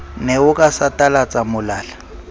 ne o ka satalatsa molala